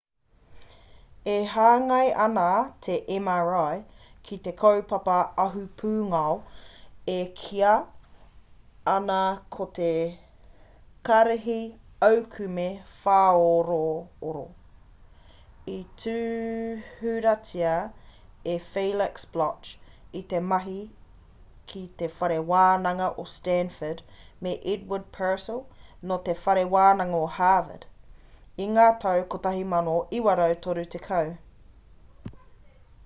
e hāngai ana te mri ki te kaupapa ahupūngao e kīa ana ko te karihi aukume whāorooro i tūhuratia e felix bloch i te mahi ki te whare wānanga o stanford me edward purcell nō te whare wānanga o harvard i ngā tau 1930